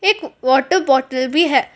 एक water bottle भी है।